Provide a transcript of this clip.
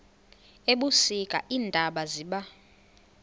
ebusika iintaba ziba